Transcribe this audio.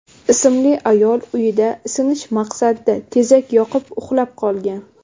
ismli ayol uyida isinish maqsadida tezak yoqib, uxlab qolgan.